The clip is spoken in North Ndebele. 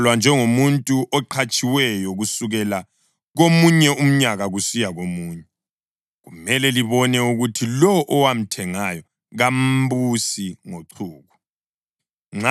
Uzabalwa njengomuntu oqhatshiweyo kusukela komunye umnyaka kusiya komunye. Kumele libone ukuthi lowo owamthengayo kambusi ngochuku.